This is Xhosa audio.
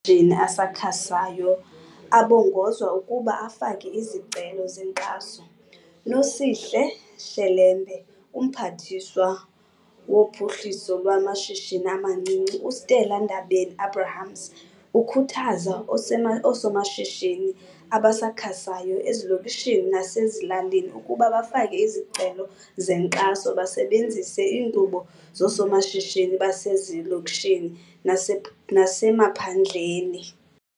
shini asakhasayo abongozwa ukuba afake izicelo zenkxaso. Nosihle Shelembe UMphathiswa woPhuhliso lwamaShishini amaNcinci, uStella Ndabeni-Abrahams, ukhuthaza oosomashishini abasakhasayo ezilokishini nasezilalini ukuba bafake izicelo zenkxaso besebenzise inkqubo yoSomashishini Basezilokishini naseMaphandleni.